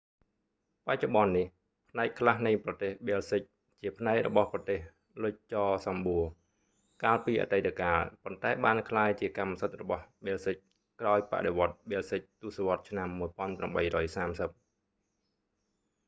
បច្ចុប្បន្ននេះ ផ្នែកខ្លះនៃប្រទេសប៊ែលស៊ិកជាផ្នែករបស់ប្រទេសលុចចសំបួរ កាលពីអតីតកាល ប៉ុន្តែបានក្លាយជាកម្មសិទ្ធិរបស់ប៊ែលសិកក្រោយបដិវដ្ដប៊ែលស៊ិកទសវត្សរ៍ឆ្នាំ1830